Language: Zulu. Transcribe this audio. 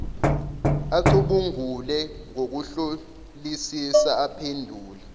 acubungule ngokuhlolisisa aphendule